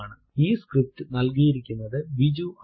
ഈ സ്ക്രിപ്റ്റ് നൽകിയിരിക്കുന്നത് സൌമ്യ ആണ്